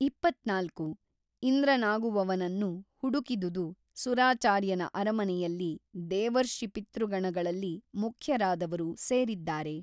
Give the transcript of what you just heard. ಇಪ್ಪತ್ತ್ನಾಲ್ಕು ಇಂದ್ರನಾಗುವವನನ್ನು ಹುಡುಕಿದುದು ಸುರಾಚಾರ್ಯನ ಅರಮನೆಯಲ್ಲಿ ದೇವರ್ಷಿಪಿತೃಗಣಗಳಲ್ಲಿ ಮುಖ್ಯರಾದವರು ಸೇರಿದ್ದಾರೆ.